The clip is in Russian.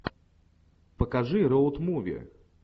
покажи роуд муви